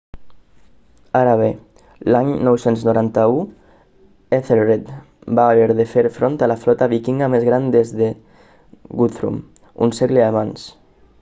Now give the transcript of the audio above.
ara bé l'any 991 ethelred va haver de fer front a la flota vikinga més gran vista des de guthrum un segle abans